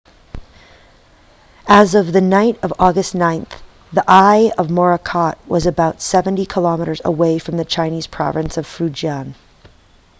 as of the night of august 9 the eye of morakot was about seventy kilometres away from the chinese province of fujian